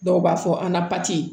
Dɔw b'a fɔ an ka